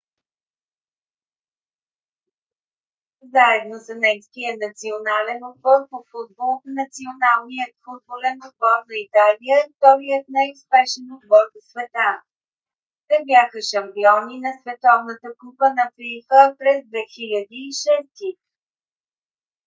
заедно с немския национален отбор по футбол националният футболен отбор на италия е вторият най-успешен отбор в света. те бяха шампиони на световната купа на фифа през 2006 г